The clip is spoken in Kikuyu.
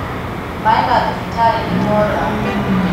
Maī ma thibitarī nīmora